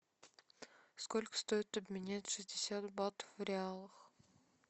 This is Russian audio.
сколько стоит обменять шестьдесят бат в реалах